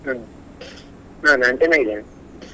ಹ್ಮ್ ಹ ನಾನ್ ಚೆನ್ನಾಗಿದ್ದೇನೆ.